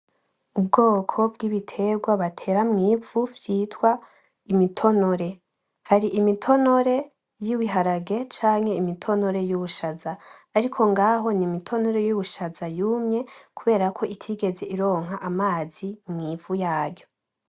Ubwoko bw’ibiterwa batera mwivu vyitwa imitonore, har’imitonore y'ibiharage cank imitonere y'ubushaza, ariko ngaho n’imitonore y’ubushaza yumye kuberako itigez ironka amazi mw'ivu yaryo.